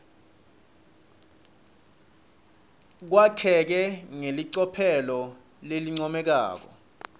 kwakheke ngelicophelo lelincomekako